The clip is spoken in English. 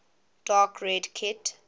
dark red kit